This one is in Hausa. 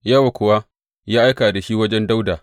Yowab kuwa ya aika da shi wajen Dawuda.